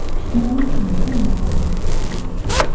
Mənim kimi bir nəfər də orada oxuyan yoxdur.